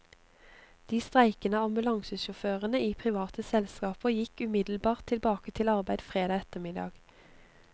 De streikende ambulansesjåførene i private selskaper gikk umiddelbart tilbake til arbeid fredag ettermiddag.